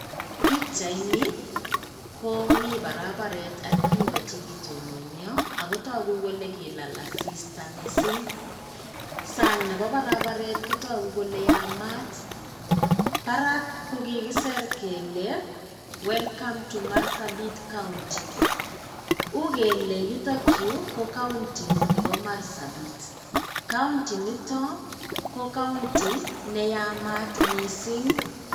Pikyaini komii barabaret ak bik o che kitononio ako tagu kole kilal asista missing. Sang nebo barabaret kotagu kole yamaat barak ko kikisir kele welcome to marsabit county. U kele yutokyu ko county nebo Marsabit county nito ko county neyamaat missing.